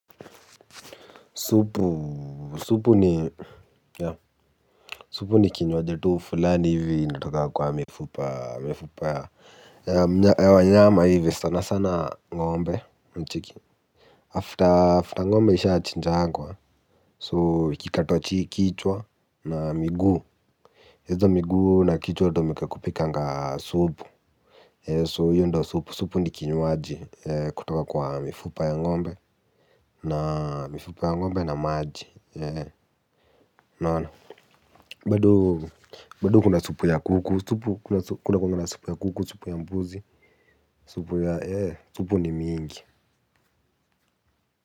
Supu ni kinywaji u fulani hivi initoka kwa mifupa ya wanyama hivi sana sana ngombe mecheki After ngombe isha achinja ngwa so ikikatwa kichwa na miguu. Hizo miguu na kichwa hutumika kupikanga supu. So hio ndo supu, supu ni kinywaji kutoka kwa mifupa ya ngombe na mifupa ya ngombe na maaji unaona, bado kuna supu ya kuku, supu ya mbuzi, supu ni mingi.